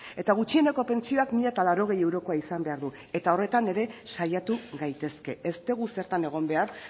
eta gutxieneko pentsioak mila laurogei eurokoa izan behar du eta horretan ere saiatu gaitezke ez dugu zertan egon behar